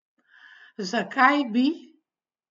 Zakaj bi?